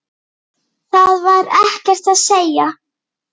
Það var ekkert að segja.